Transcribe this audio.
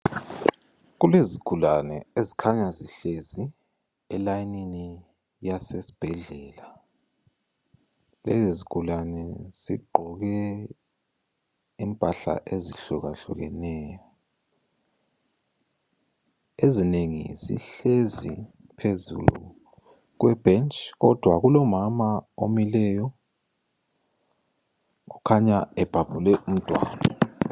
Kulezigulane ezikhanya zihlezi elayinini yasesibhedlela lezi izigulane zigqoke impahla ezihlukahlukeneyo. Ezinengi zihlezi phezulu kwebhentshi kodwa kulomama omileyo ukhanya ebhabhule umntwana.